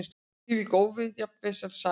Hvílík óviðjafnanleg sæla!